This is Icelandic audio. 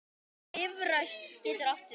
Bifröst getur átt við